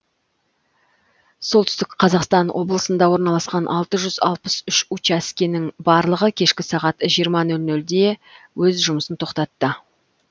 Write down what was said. солтүстік қазақстан облысында орналасқан алты жүз алпыс үш учаскенің барлығы кешкі сағат жиырма нөл нөлде өз жұмысын тоқтатты